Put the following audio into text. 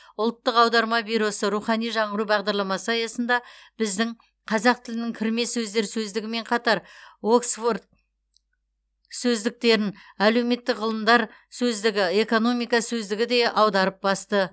ұлттық аударма бюросы рухани жаңғыру бағдарламасы аясында біздің қазақ тілінің кірме сөздер сөздігімен қатар оксфорд сөздіктерін әлеуметтік ғылымдар сөздігі экономика сөздігі де аударып басты